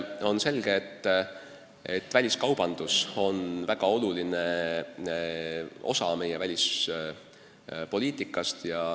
On selge, et väliskaubandus on väga oluline osa välispoliitikast.